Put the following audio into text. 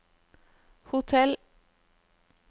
hotell